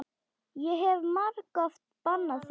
Ég hef margoft bannað þér.